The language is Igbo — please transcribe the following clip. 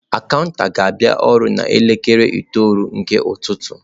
Akaụntụ ga-abịa ọrụ n'elekere itoolu nke ụtụtụ.